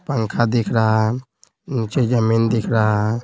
पंखा दिख रहा है नीचे जमीन दिख रहा है।